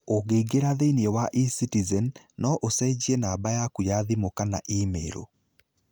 Ũngĩingĩra thĩinĩ wa e-Citizen, no ũcenjie namba yaku ya thimũ kana imĩrũ.